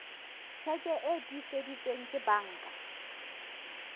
tjheke e tiiseditsweng ke banka